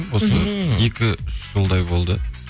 осы екі үш жылдай болды